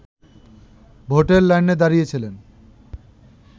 ভোটের লাইনে দাঁড়িয়েছিলেন